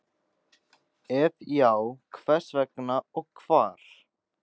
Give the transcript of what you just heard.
Ef já, hvers vegna og hvar?